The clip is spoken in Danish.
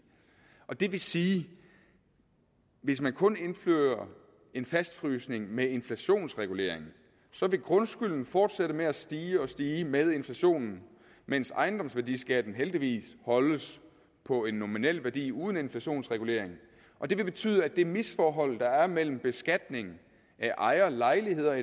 og det vil sige at hvis man kun indfører en fastfrysning med inflationsregulering så vil grundskylden fortsætte med at stige og stige med inflationen mens ejendomsværdiskatten heldigvis holdes på en nominel værdi uden inflationsregulering og det vil betyde at det misforhold der er mellem beskatning af ejerlejligheder